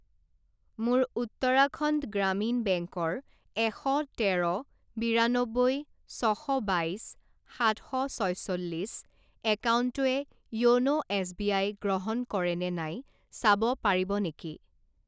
মোৰ উত্তৰাখণ্ড গ্ৰামীণ বেংকৰ এশ তেৰ বিৰান্নব্বৈ ছ শ বাইছ সাত শ ছয়চল্লিছ একাউণ্টটোৱে য়োন' এছবিআই গ্ৰহণ কৰে নে নাই চাব পাৰিব নেকি?